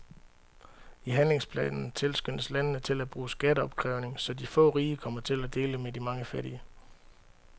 I handlingsplanen tilskyndes landene til at bruge skatteopkrævning, så de få rige kommer til at dele med de mange fattige.